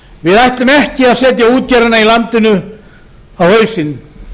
við ætlum ekki að setja útgerðina í landinu í dag á hausinn